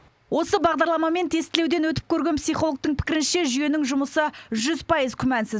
осы бағдарламамен тестілеуден өтіп көрген психологтың пікірінше жүйенің жұмысы жүз пайыз күмәнсіз